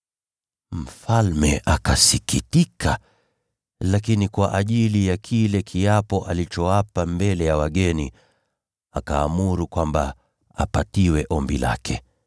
Mfalme akasikitika, lakini kwa sababu ya viapo alivyoapa mbele ya wageni, akaamuru kwamba apatiwe ombi lake.